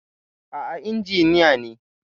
A'a injiniya ne.